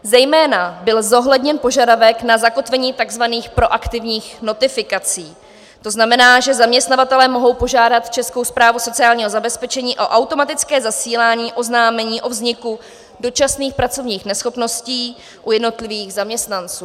Zejména byl zohledněn požadavek na zakotvení tzv. proaktivních notifikací, to znamená, že zaměstnavatelé mohou požádat Českou správu sociálního zabezpečení o automatické zasílání oznámení o vzniku dočasných pracovních neschopností u jednotlivých zaměstnanců.